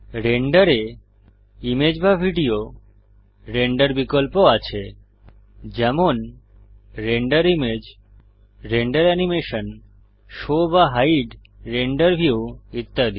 রেন্ডারে image বা video render বিকল্প আছে যেমন render image render animation show বা হাইড রেন্ডার ভিউ ইত্যাদি